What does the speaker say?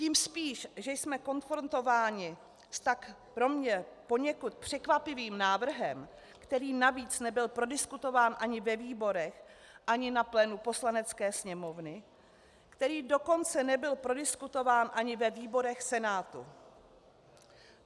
Tím spíš, že jsme konfrontováni s tak pro mě poněkud překvapivým návrhem, který navíc nebyl prodiskutován ani ve výborech ani na plénu Poslanecké sněmovny, který dokonce nebyl prodiskutován ani ve výborech Senátu.